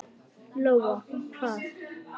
Lóa: Hvar?